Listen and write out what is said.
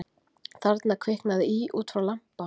Þarna kviknaði í út frá lampa